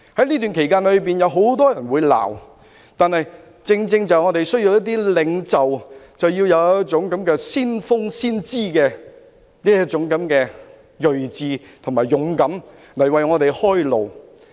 這段期間會有很多人責罵，但我們正需要具先峰、先知的銳志及勇敢的領袖，為我們開路。